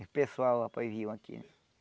Os pessoal, rapaz, viam aqui.